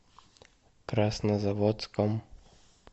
краснозаводском